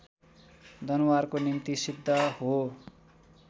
दनुवारको निम्ति सिद्ध हो